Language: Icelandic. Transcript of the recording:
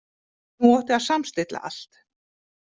Nú átti að samstilla allt.